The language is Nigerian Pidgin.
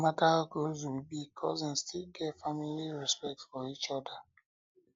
no matter how close we be cousins still get family respect for each other